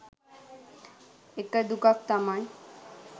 එක දුකක් තමයි